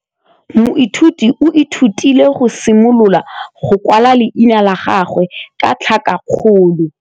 Moithuti o ithutile go simolola go kwala leina la gagwe ka tlhakakgolo.